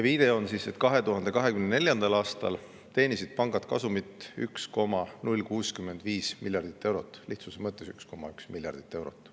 Viide on, et 2024. aastal teenisid pangad kasumit 1,065 miljardit eurot ehk lihtsuse mõttes võib öelda, et 1,1 miljardit eurot.